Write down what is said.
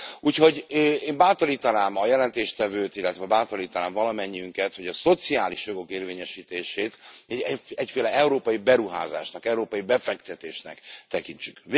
Úgyhogy én bátorítanám a jelentéstevőt, illetve bátorítanám valamennyiünket, hogy a szociális jogok érvényesítését egyféle európai beruházásnak, európai befektetésnek tekintsük.